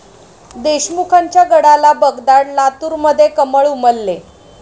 देशमुखांच्या गडाला भगदाड, लातूरमध्ये 'कमळ' उमलले